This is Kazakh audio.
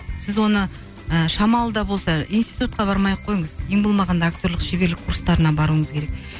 сіз оны ы шамалы да болса институтка бармай ақ қойыңыз ең болмағанда актерлік шеберлік курстарына баруыңыз керек